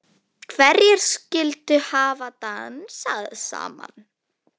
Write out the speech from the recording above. Hverjir skyldu hafa dansað saman?